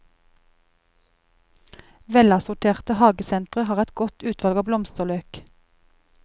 Velassorterte hagesentre har et godt utvalg av blomsterløk.